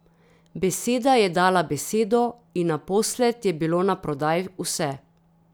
Beseda je dala besedo in naposled je bilo na prodaj vse.